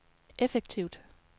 effektivt